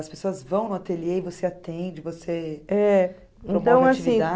As pessoas vão no ateliê e você atende, você